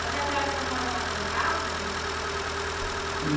Mas nessa época a senhora já cantava?